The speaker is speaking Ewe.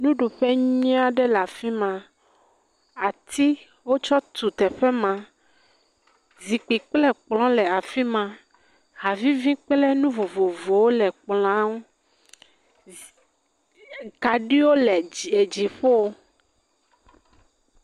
Nuɖuƒe nyui aɖe le afi ma. Ati wotsɔ tu teƒe ma. Zikpui kple kplɔ le afi ma. Havivi kple nu vovovowo le kplɔa nu. Zi e kaɖiwo le dzi edziƒo.